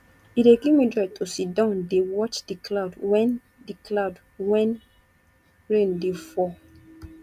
e dey give me joy to siddon dey watch di cloud wen di cloud wen rain dey fall